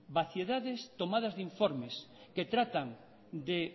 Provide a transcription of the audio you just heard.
vaciedades tomadas de informes que tratan de